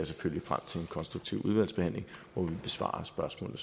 selvfølgelig frem til en konstruktiv udvalgsbehandling hvor vi besvarer spørgsmål